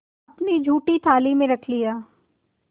अपनी जूठी थाली में रख लिया